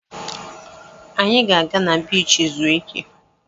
Anyị ga-aga na biichi zuo ike.